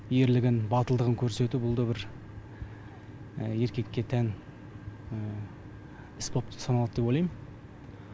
ерлігін батылдығын көрсету бұл да бір еркекке тән іс болып саналады деп ойлайм